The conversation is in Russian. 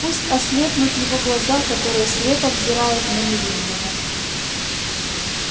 пусть ослепнут его глаза которые слепо взирают на невинного